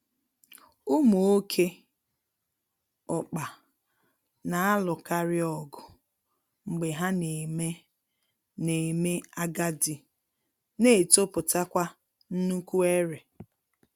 Ụmụ oké ọkpa na-alụkarịọgụ mgbe ha na-eme na-eme agadi na-etopụtakwa nnukwu ere